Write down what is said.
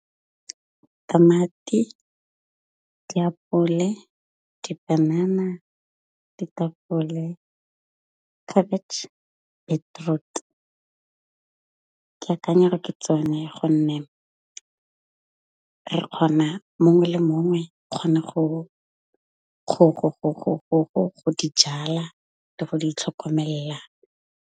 Tamati, diapole, dipanana, ditapole, khabetšhe, beetroot ke akanya gore ke tsone gonne re kgona mongwe le mongwe kgone go dijala le go di tlhokomelela.